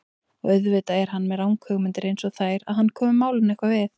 Og auðvitað er hann með ranghugmyndir einsog þær að hann komi málinu eitthvað við.